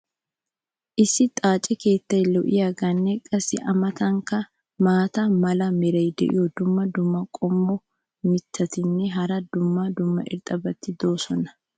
issi xaace keettay lo'iyaageenne qassi a matankka maata mala meray diyo dumma dumma qommo mitattinne hara dumma dumma irxxabati de'oosona.